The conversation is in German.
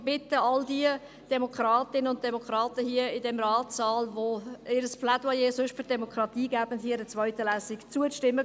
Ich bitte all jene hier im Ratssaal, die sich in ihren Voten gerne auf die Demokratie beziehen, einer zweiten Lesung zuzustimmen.